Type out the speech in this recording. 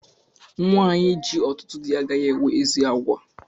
Nwanyi ji ọtụtụ dị agaghị enwe ezi àgwà